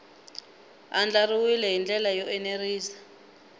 andlariwile hi ndlela yo enerisa